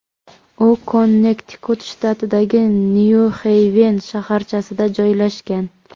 U Konnektikut shtatidagi Nyu-Xeyven shaharchasida joylashgan.